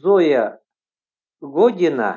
зоя година